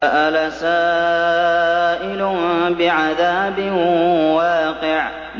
سَأَلَ سَائِلٌ بِعَذَابٍ وَاقِعٍ